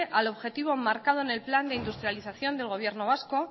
al objetivo marcado en el plan de industrialización del gobierno vasco